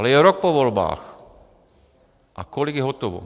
Ale je rok po volbách a kolik je hotovo?